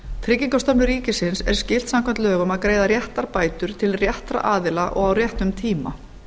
tryggingastofnun ríkisins er skylt samkvæmt lögum að greiða réttar bætur til réttra aðila og á réttum tíma